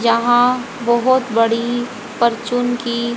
यहां बहुत बड़ी परचून की--